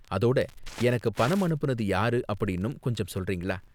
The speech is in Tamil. அதோட, எனக்கு பணம் அனுப்புனது யாரு அப்படின்னும் கொஞ்சம் சொல்றீங்களா?